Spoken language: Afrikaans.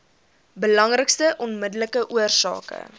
belangrikste onmiddellike oorsake